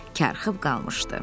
Karxıb qalmışdı.